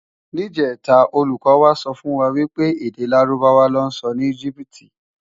Nijètá ólúkò wá sòfúnwá wipé èdè Lárúbáwá lò nsò ni Egypiti